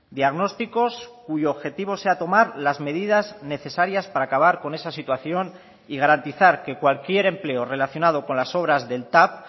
diagnósticos cuyo objetivo sea tomar las medidas necesarias para acabar con esa situación y garantizar que cualquier empleo relacionado con las obras del tav